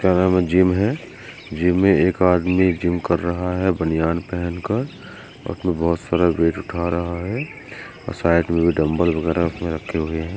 Gym है gym मे एक आदमी जिम कर रहा है बनियान पहनकर और वो बहोत सारा वेट उठा रहा है और शायद डम्बेल वगैरा रखे हुये है।